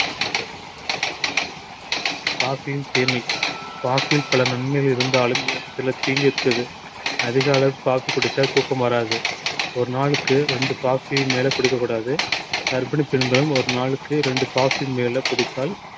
coffee யும் தீமை coffee யில் பல நன்மைகள் இருந்தாலும் சில தீங்கு இருக்குது அதிக அளவு coffee குடிச்சா தூக்கம் வராது ஒரு நாளுக்கு ரெண்டு coffee மேல குடிக்கக் கூடாது கர்ப்பிணி பெண்களும் ஒரு நாளுக்கு ரெண்டு coffee மேல குடித்தால்